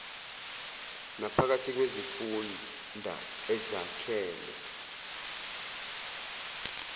naphakathi kwezifunda ezakhele